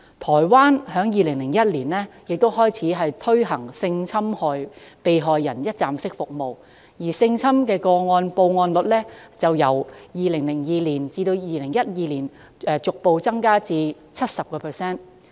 台灣在2001年亦開始推行性侵害被害人一站式服務，性侵個案報案率其後於2002年至2012年間逐步提升至 70%。